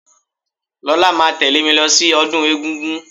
Lọlá máa tẹ̀lẹ́ mí lọ sí ọdún egúngún.